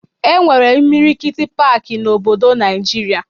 E nwere imilikiti paaki n'obodo Naịjirịa